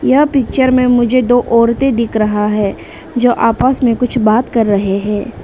यह पिक्चर में मुझे दो औरतें दिख रहा है जो आपस में कुछ बात कर रहे हैं।